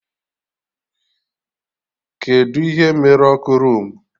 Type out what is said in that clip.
Kedụ ihe mere ọkụ roomu?